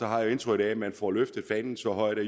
har jeg indtrykket af at man får løftet fanen så højt at